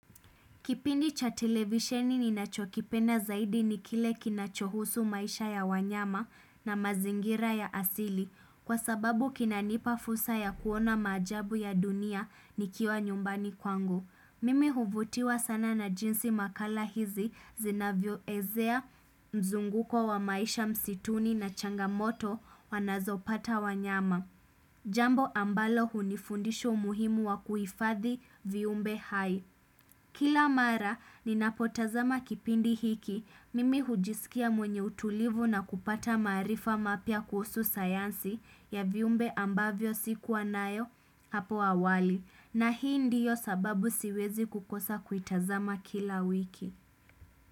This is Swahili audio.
Kipindi cha televisheni ninachokipenda zaidi nikile kinachohusu maisha ya wanyama na mazingira ya asili Kwa sababu kinanipafusa ya kuona maajabu ya dunia nikiwa nyumbani kwangu Mimi huvutiwa sana na jinsi makala hizi zinavyo ezea mzunguko wa maisha msituni na changamoto wanazopata wanyama Jambo ambalo hunifundisha muhimu wa kuifathi viumbe hai Kila mara, ninapotazama kipindi hiki, mimi hujisikia mwenye utulivu na kupata maarifa mapia kuhuu sayansi ya viumbe ambavyo sikuwa nayo hapo awali. Na hii ndiyo sababu siwezi kukosa kuitazama kila wiki.